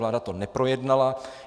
Vláda to neprojednala.